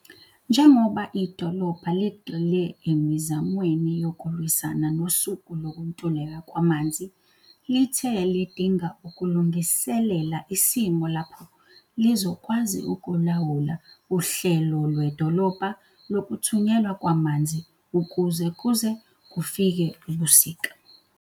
Njengoba idolobha ligxile emizamweni yokulwisana nosuku lokuntuleka kwamanzi, lithe lidinga ukulungiselela isimo lapho lizokwazi ukulawula uhlelo lwedolobha lokuthunyelwa kwamanzi ukuze kuze kufike ubusika.